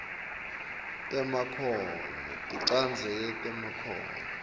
temakhono tinchazelo temakhono